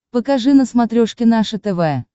покажи на смотрешке наше тв